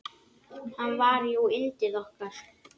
Hann var jú yndið okkar.